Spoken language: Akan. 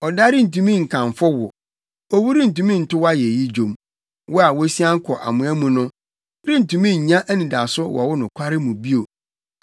Ɔda rentumi nkamfo wo; owu rentumi nto wo ayeyi nnwom; wɔn a wosian kɔ amoa mu no rentumi nnya anidaso wɔ wo nokware mu bio.